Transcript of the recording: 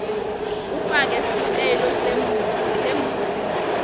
ufake sicelo semvumo